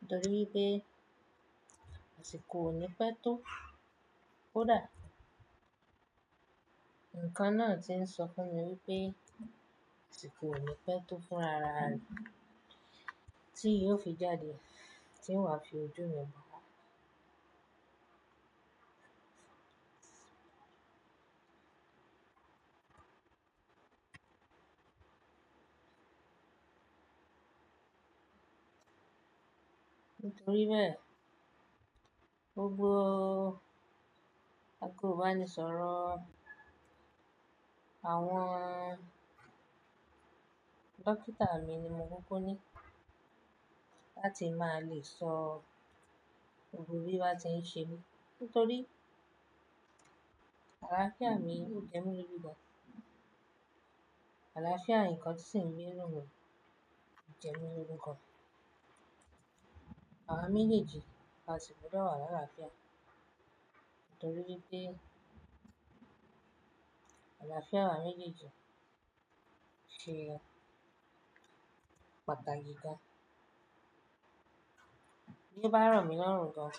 nítorí pé àsìkò ò ní pẹ́ tó, kódà ǹkan náà ti ń sọ fún mi wípé àsìkò ò ní pẹ́ tó fún ara mi tí yóò fi jáde tí ń wá fi ojú mi bà. Nítorí bẹ́ẹ̀ gbogbo nko ba ní sọ̀rọ̀ àwọn dókítà mi ni mo kúkú ní láti máa lè sọ gbogbo bí wọ́n ti ń ṣe mí nítorí àlàáfíà mi ò jẹ́ mi loju gan Àlàáfíà ǹkan tí sì ń gbé inú mi ò jẹ́ míi loju gan. Àwa méjèèjì a sì gbọdọ̀ wà láàlàáfíà nítorí pé àlàáfíà àwa méjèèjì ṣe pàtàkì gan Bí i bá romilorun gan.